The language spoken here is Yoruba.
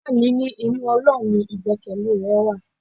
Ìyá mi ní inú Ọlọ́run ni igbekele rẹ wà.